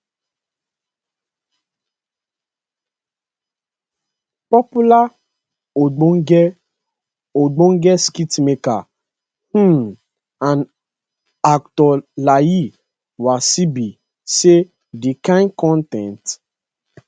popular ogbonge ogbonge skitmaker um and actor layi wasabi say di kain con ten t